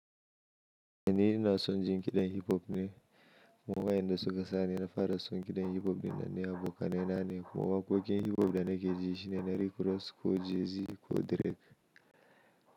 Ni ina son jin ƙiɗan hip hop ne kuma waɗanda suka sani na fara son kiɗan hip-hop dinnan da abokanai na ne kuma waƙoƙin hip-hop da nake ji shine na Rick Ross ko Jay-Z ko Drake.